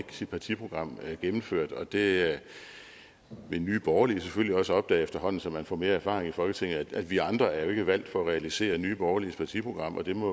sit partiprogram gennemført og det vil nye borgerlige selvfølgelig også opdage efterhånden som man får mere erfaring i folketinget vi andre er jo ikke valgt for at realisere nye borgerliges partiprogram og det må